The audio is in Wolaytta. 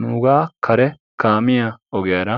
Nuugaa kare kaamiya ogiyara